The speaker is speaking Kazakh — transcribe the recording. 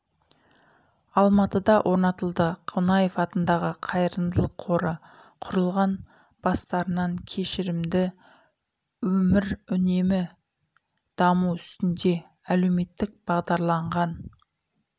алматыда орнатылды қонаев атында қайырымдылық қоры құрылған бастарынан кешірді өмір үнемі даму үстінде әлеуметтік бағдарланған